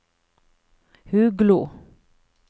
Huglo